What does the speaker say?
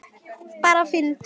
Bara fyndið.